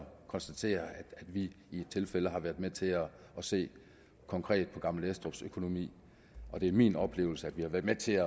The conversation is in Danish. konstatere at vi i et tilfælde har været med til at se konkret på gammel estrups økonomi og det er min oplevelse at vi har været med til